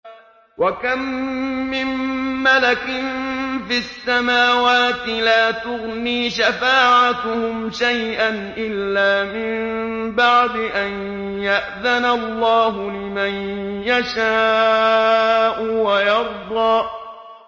۞ وَكَم مِّن مَّلَكٍ فِي السَّمَاوَاتِ لَا تُغْنِي شَفَاعَتُهُمْ شَيْئًا إِلَّا مِن بَعْدِ أَن يَأْذَنَ اللَّهُ لِمَن يَشَاءُ وَيَرْضَىٰ